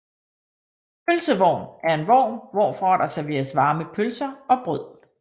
Pølsevogn er en vogn hvorfra der servereres varme pølser og brød